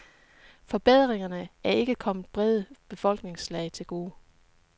Forbedringerne er ikke kommet brede befolkningslag til gode.